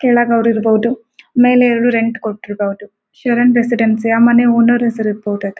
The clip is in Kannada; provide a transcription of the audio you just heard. ಕೆಳಗ್ ಅವ್ರು ಇರಬಹುದು ಮೇಲೆ ರೆಂಟ್ ಕೊಟ್ಟಿರಬಹದು ಶರಣ ರೆಸಿಡೆನ್ಸಿ ಆ ಮನೆ ಓನರ್ ಹೆಸರು ಇರ್ಬಹುದು .